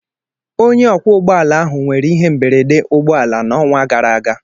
Onye ọkwọ ụgbọ ala ahụ nwere ihe mberede ụgbọ ala n'ọnwa gara aga.